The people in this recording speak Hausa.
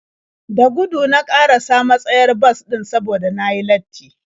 Da gudu na ƙarasa matsayar bas ɗin saboda na yi latti.